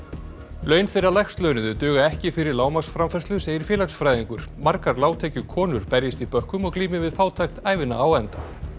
laun þeirra lægst launuðu duga ekki fyrir lágmarksframfærslu segir félagsfræðingur margar lágtekjukonur berjist í bökkum og glími við fátækt ævina á enda